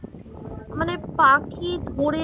মানে পাখি ধরে